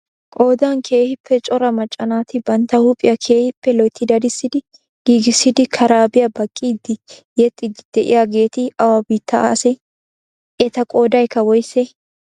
Qoodan keehippe cora macca naati bantta huuphiyaa keehippe loyitti dadissi giigissidi karaabiya baqqidi yexxiddi de'iyaageeti awa biitta ase? Eta qoodayikka woyisee?